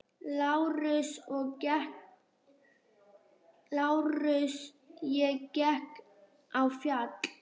LÁRUS: Ég gekk á fjall.